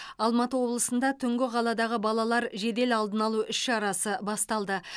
алматы облысында түнгі қаладағы балалар жедел алдын алу іс шарасы басталды